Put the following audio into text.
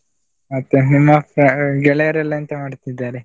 ಮತ್ತೆ ನಿಮ್ಮ ಗೆಳೆಯರೆಲ್ಲ ಎಂತ ಮಾಡ್ತಿದ್ದಾರೆ?